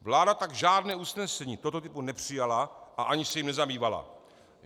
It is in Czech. Vláda tak žádné usnesení tohoto typu nepřijala a ani se jím nezabývala.